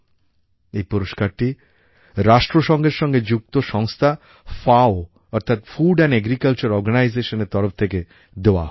এই পুরস্কারটি রাষ্ট্রসংঘের সঙ্গে যুক্ত সংস্থা FAOঅর্থাৎ ফুড এন্ড এগ্রিকালচার Organisationএর তরফ থেকে দেওয়া হয়